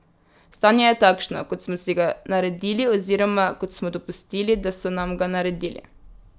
Stanje je takšno, kot smo si ga naredili oziroma kot smo dopustili, da so nam ga naredili.